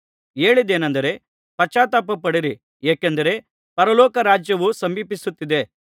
ಹೇಳಿದ್ದೇನೆಂದರೆ ಪಶ್ಚಾತ್ತಾಪಪಡಿರಿ ಏಕೆಂದರೆ ಪರಲೋಕ ರಾಜ್ಯವು ಸಮೀಪಿಸುತ್ತಿದೆ